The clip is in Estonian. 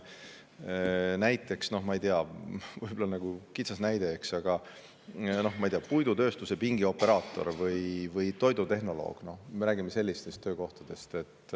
Näiteks – ma ei tea, võib-olla see on liiga kitsas näide, aga ikkagi – puidutööstuse pingioperaator või toidutehnoloog, me räägime sellistest töökohtadest.